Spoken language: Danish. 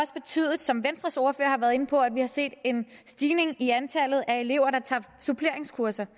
betydet som venstres ordfører har været inde på at vi har set en stigning i antallet af elever der tager suppleringskurser